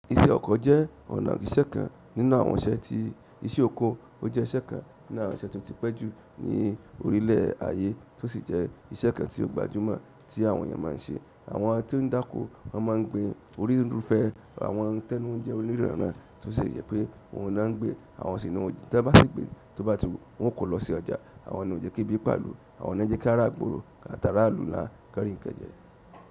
Iṣẹ́ ọkọ̀ jẹ́ ọ̀nà ìṣẹ́ kan nínú àwọn iṣẹ́ tí iṣẹ́ oko. Ó jẹ́ iṣẹ́ kan nínú àwọn iṣẹ́ tó ti pẹ́ jù ní orílẹ̀ ayé tó sì jẹ́ iṣẹ́ kan ti ó gbajúmọ̀ tí àwọn èèyàn máa ń ṣe. Àwọn tí ó ń dákó won máa ń gbin orí rúfẹ́ àwọn tẹ́nu ó ń jẹ́ oníranran tó sì je pé òun ló ń gbin. Àwọn sì n ojì tí e bá sì gbé, tó bá ti wù wọ́n kọ́ lọ sí ọjà. Àwọn ni o je kebi pa ìlú. Àwọn náà jẹ kí á ra igbòro, áta ara ìlú náà ki won ri nkan jẹ.